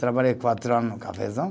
Trabalhei quatro ano no cafezal.